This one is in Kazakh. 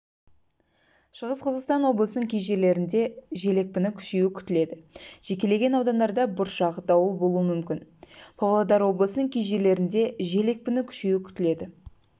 шығыс-қазақстан облысының кей жерлерін дежел екпіні күшеюі күтіледі жекелеген аудандарда бұршақ дауыл болуы мүмкін павлодар облысының кей жерлеріндежел екпіні күшеюі күтіледі